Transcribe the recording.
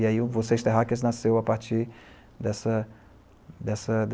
E, aí, o Vocês Terráqueas nasceu a partir dessa, dessa.